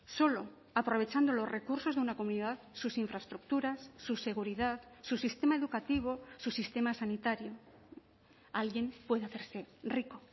solo aprovechando los recursos de una comunidad sus infraestructuras su seguridad su sistema educativo su sistema sanitario alguien puede hacerse rico